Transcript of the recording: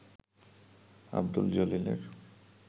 Abdul জলিলের